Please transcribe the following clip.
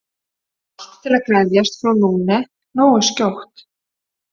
Allt til að geðjast frú Lune nógu skjótt.